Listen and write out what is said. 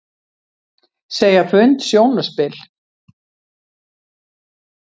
Segja fund sjónarspil